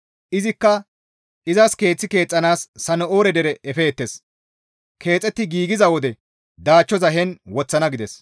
Izikka, «Izas keeth keexxanaas Sana7oore dere efeettes; keexetti giigiza wode daachchoza heen woththana» gides.